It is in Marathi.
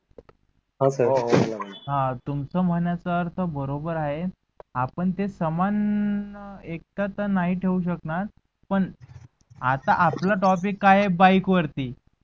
ह तुमच्या म्हनण्य्य्याच अर्थ बरोबर आहे आपण ते समान एक थर नाही तेव्हु शकनार पन आता आपला topic काय आहे बाईक वरती.